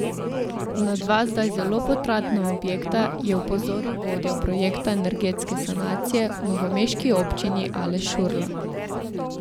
Na dva zdaj zelo potratna objekta je opozoril vodja projekta energetske sanacije v novomeški občini Aleš Šurla.